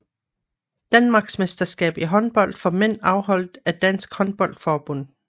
Danmarksmesterskab i håndbold for mænd afholdt af Dansk Håndbold Forbund